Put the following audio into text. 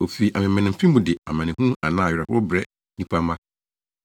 Ofi amemenemfe mu de amanehunu anaa awerɛhow brɛ nnipa mma.